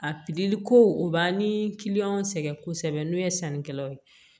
A pikiri ko o b'an ni sɛgɛn kosɛbɛ n'o ye sannikɛlaw ye